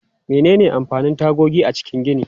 Menene amfanin tagogi a cikin gini?